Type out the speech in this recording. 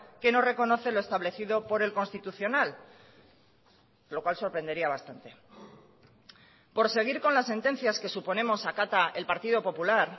que no reconoce lo establecido por el constitucional lo cual sorprendería bastante por seguir con las sentencias que suponemos acata el partido popular